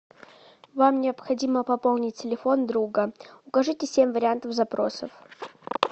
вам необходимо пополнить телефон друга укажите семь вариантов запросов